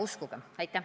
Uskuge!